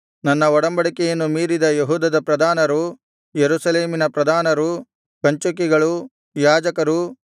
ನನ್ನ ಒಡಂಬಡಿಕೆಯನ್ನು ಮೀರಿದ ಯೆಹೂದದ ಪ್ರಧಾನರು ಯೆರೂಸಲೇಮಿನ ಪ್ರಧಾನರು ಕಂಚುಕಿಗಳು ಯಾಜಕರು